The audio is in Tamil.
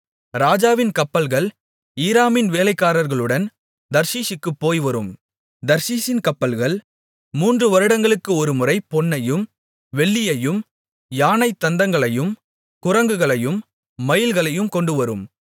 ராஜாவின் கப்பல்கள் ஈராமின் வேலைக்காரர்களுடன் தர்ஷீசுக்குப் போய்வரும் தர்ஷீசின் கப்பல்கள் மூன்று வருடங்களுக்கு ஒருமுறை பொன்னையும் வெள்ளியையும் யானைத் தந்தங்களையும் குரங்குகளையும் மயில்களையும் கொண்டுவரும்